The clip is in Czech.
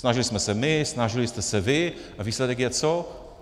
Snažili jsme se my, snažili jste se vy - a výsledek je co?